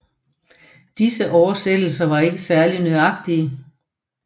Disse oversættelser var ikke særlig nøjagtige